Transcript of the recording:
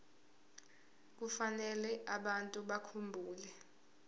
kufanele abantu bakhumbule